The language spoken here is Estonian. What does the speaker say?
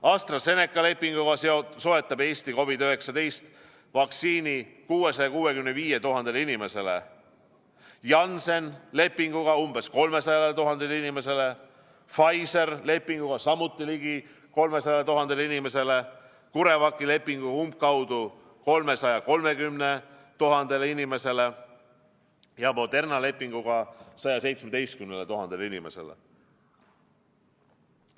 AstraZeneca lepinguga soetab Eesti COVID-19 vaktsiini 665 000 inimesele, Jansseni lepinguga umbes 300 000 inimesele, Pfizeri lepinguga samuti ligi 300 000 inimesele, CureVaci lepinguga umbkaudu 330 000 inimesele ja Moderna lepinguga 117 000 inimesele.